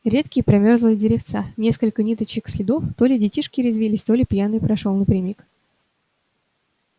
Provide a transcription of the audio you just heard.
редкие промёрзлые деревца несколько ниточек следов то ли детишки резвились то ли пьяный прошёл напрямик